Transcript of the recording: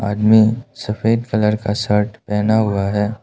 सफेद कलर का शर्ट पहना हुआ है।